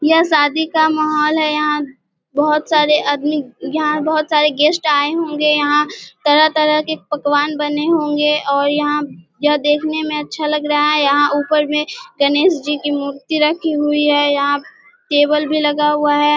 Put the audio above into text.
यह शादी का माहोल है यहाँ बोहोत सारे आदमी यहाँ बोहोत सारे गेस्ट आये होंगे यहाँ तरह-तरह के पकवान बने होंगे और यहाँ यह देखने में अच्छा लग रहा यहाँ ऊपर में गणेश जी की मूर्ति रखी हुई है यहाँ टेबल भी लगा हुआ है।